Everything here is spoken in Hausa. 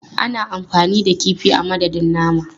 Ana amfani da kifi a madadin nama.